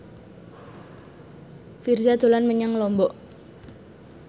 Virzha dolan menyang Lombok